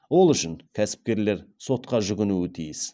ол үшін кәсіпкерлер сотқа жүгінуі тиіс